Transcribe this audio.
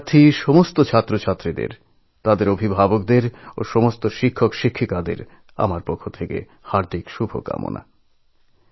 পরীক্ষার্থীদের তাদের অভিভাবক ও শিক্ষকদের সকলকে আমার আন্তরিক শুভেচ্ছা